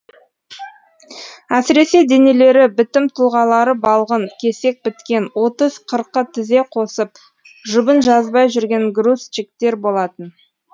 әсіресе денелері бітім тұлғалары балғын кесек біткен отыз қырқы тізе қосып жұбын жазбай жүрген грузчиктер болатын